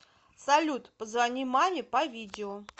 салют позвони маме по видео